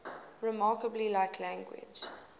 remarkably like language